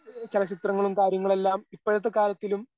എഹ് ചലച്ചിത്രങ്ങളും കാര്യങ്ങളെല്ലാം ഇപ്പഴത്തെ കാലത്തിലും